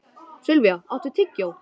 Silvía, áttu tyggjó?